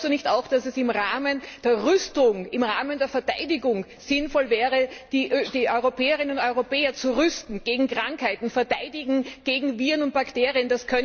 Glaubst du nicht auch, dass es im Rahmen der Rüstung, im Rahmen der Verteidigung sinnvoll wäre, die Europäerinnen und Europäer zu rüsten gegen Krankheiten, sie zu verteidigen gegen Viren und Bakterien?